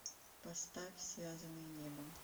поставь связанные небом